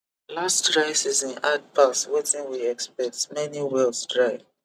last dry season hard pass wetin we expect many wells dry